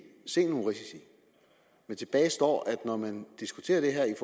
se nogle risici men tilbage står at når man diskuterer det her